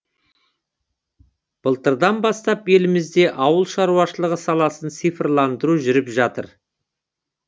былтырдан бастап елімізде ауыл шаруашылығы саласын цифрландыру жүріп жатыр